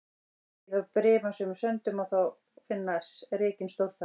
Víða á brimasömum ströndum má finna rekinn stórþara.